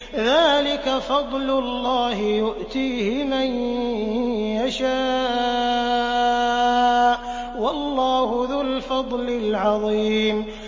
ذَٰلِكَ فَضْلُ اللَّهِ يُؤْتِيهِ مَن يَشَاءُ ۚ وَاللَّهُ ذُو الْفَضْلِ الْعَظِيمِ